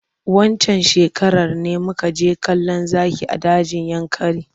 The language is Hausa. Waccan shekarar ne muka je kallon zaki a dajin yankari.